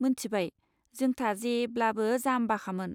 मोन्थिबाय, जोंथा जेब्लाबो जामबाखामोन।